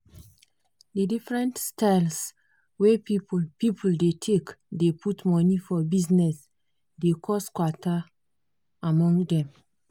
di different styles wey people people dey take dey put money for bizness dey cos kwata among dem.